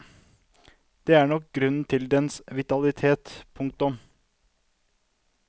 Det er nok grunnen til dens vitalitet. punktum